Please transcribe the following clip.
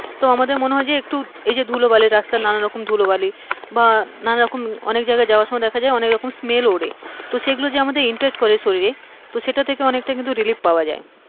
তো আমাদের হয় যে একটু ধুলোবালি রাস্তার নানা রকম ধুলোবালি, বা নানারকম অনেক রকম যাওয়ার সময় smell ওড়ে, তো সেই গুলো যে impact করে আমাদের শরীরে তো সেটা থেকে অনেকটা কিন্তু relief পাওয়া যায়।